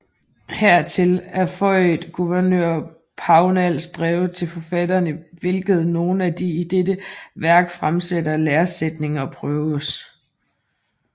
Hertil er føiet gouvernør Pownals brev til forfatteren i hvilket nogle af de i dette wærk fremsatte læresættninger prøves